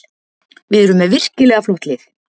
Við erum með virkilega flott lið